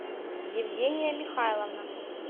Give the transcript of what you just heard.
евгения михайловна